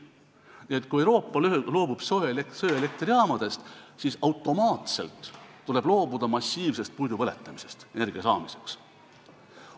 Nii et kui Euroopa loobub söeelektrijaamadest, siis tuleb automaatselt loobuda massiivsest puidu põletamisest energia saamiseks.